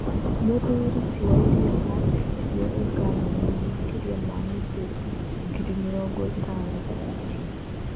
Mũthuri ti wairia ashindire ũngavana na makĩria ma mĩtĩ ngiri mĩrongo ĩtano ciiki.